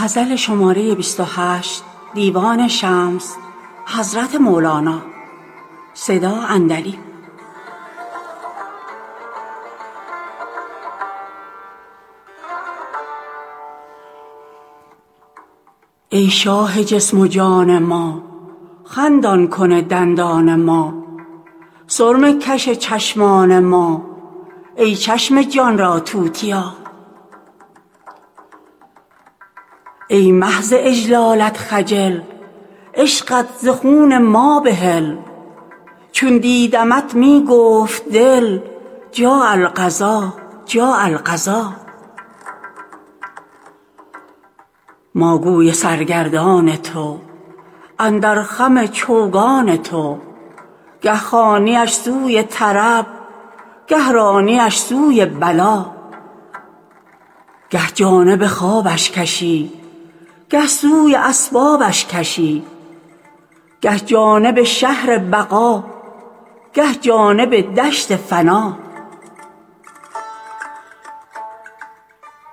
ای شاه جسم و جان ما خندان کن دندان ما سرمه کش چشمان ما ای چشم جان را توتیا ای مه ز اجلالت خجل عشقت ز خون ما بحل چون دیدمت می گفت دل جاء القضا جاء القضا ما گوی سرگردان تو اندر خم چوگان تو گه خوانی اش سوی طرب گه رانی اش سوی بلا گه جانب خوابش کشی گه سوی اسبابش کشی گه جانب شهر بقا گه جانب دشت فنا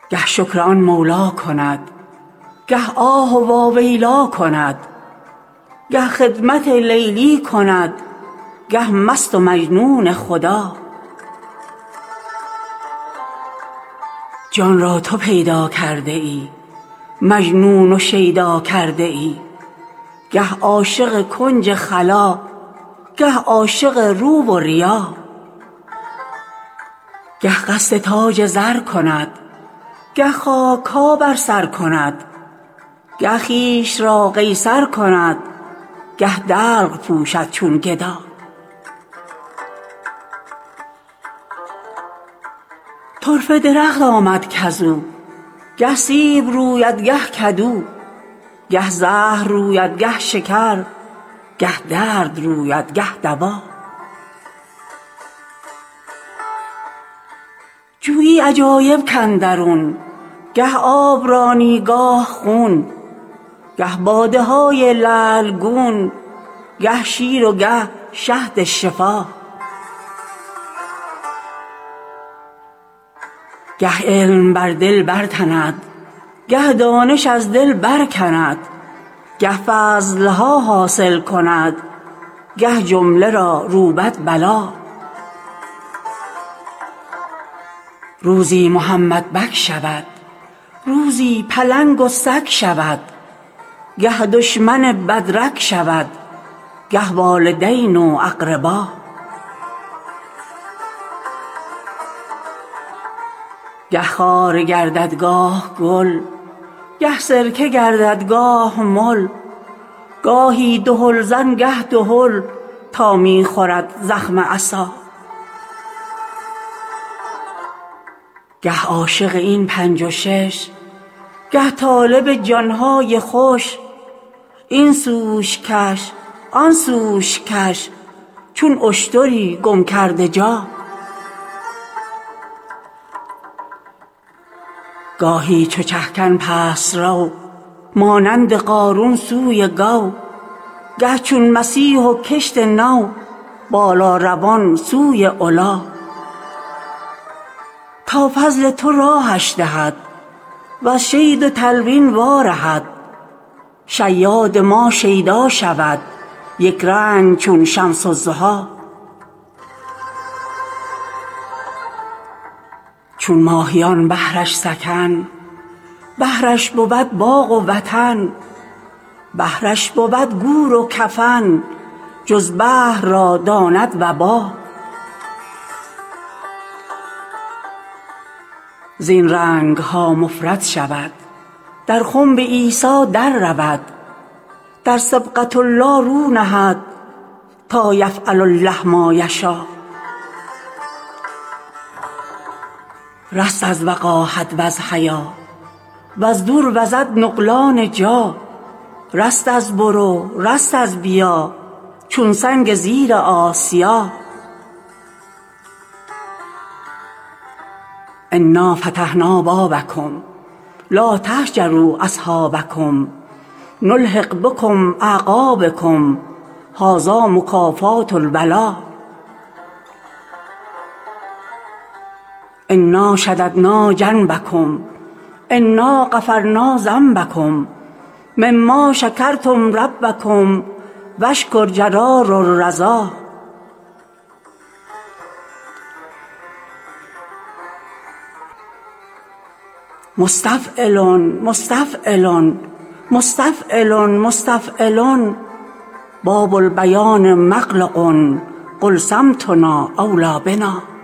گه شکر آن مولی کند گه آه واویلی کند گه خدمت لیلی کند گه مست و مجنون خدا جان را تو پیدا کرده ای مجنون و شیدا کرده ای گه عاشق کنج خلا گه عاشق رو و ریا گه قصد تاج زر کند گه خاک ها بر سر کند گه خویش را قیصر کند گه دلق پوشد چون گدا طرفه درخت آمد کز او گه سیب روید گه کدو گه زهر روید گه شکر گه درد روید گه دوا جویی عجایب کاندرون گه آب رانی گاه خون گه باده های لعل گون گه شیر و گه شهد شفا گه علم بر دل برتند گه دانش از دل برکند گه فضل ها حاصل کند گه جمله را روبد بلا روزی محمدبک شود روزی پلنگ و سگ شود گه دشمن بد رگ شود گه والدین و اقربا گه خار گردد گاه گل گه سرکه گردد گاه مل گاهی دهلزن گه دهل تا می خورد زخم عصا گه عاشق این پنج و شش گه طالب جان های خوش این سوش کش آن سوش کش چون اشتری گم کرده جا گاهی چو چه کن پست رو مانند قارون سوی گو گه چون مسیح و کشت نو بالاروان سوی علا تا فضل تو راهش دهد وز شید و تلوین وارهد شیاد ما شیدا شود یک رنگ چون شمس الضحی چون ماهیان بحرش سکن بحرش بود باغ و وطن بحرش بود گور و کفن جز بحر را داند وبا زین رنگ ها مفرد شود در خنب عیسی دررود در صبغة الله رو نهد تا یفعل الله ما یشا رست از وقاحت وز حیا وز دور وز نقلان جا رست از برو رست از بیا چون سنگ زیر آسیا انا فتحنا بابکم لا تهجروا اصحابکم نلحق بکم اعقابکم هذا مکافات الولا انا شددنا جنبکم انا غفرنا ذنبکم مما شکرتم ربکم و الشکر جرار الرضا مستفعلن مستفعلن مستفعلن مستفعلن باب البیان مغلق قل صمتنا اولی بنا